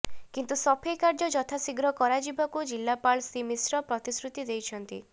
କିନ୍ତୁ ସଫେଇ କାର୍ଯ୍ୟ ଯଥାଶୀଘ୍ର କରାଯିବାକୁ ଜିଲ୍ଲାପାଳ ଶ୍ରୀ ମିଶ୍ର ପ୍ରତିଶ୍ରୁତି ଦେଇଛନ୍ତି